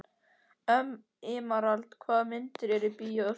Emeralda, hvaða myndir eru í bíó á sunnudaginn?